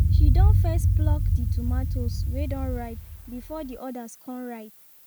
she don first pluck the tomatos wey don ripe before the others con ripe